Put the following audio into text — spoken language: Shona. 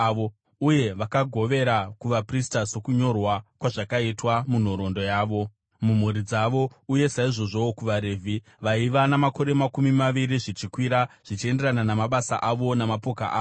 Uye vakagovera kuvaprista sokunyorwa kwazvakaitwa munhoroondo yavo mumhuri dzavo, uye saizvozvowo kuvaRevhi, vaiva namakore makumi maviri zvichikwira zvichienderana namabasa avo namapoka avo.